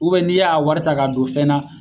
n'i y'a wari ta k'a don fɛn na